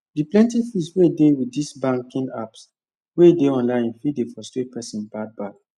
the plenty fees wey dey with this banking apps wey dey online fit dey frustrate persin bad bad